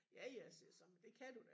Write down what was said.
Ja ja siger jeg så men det kan du da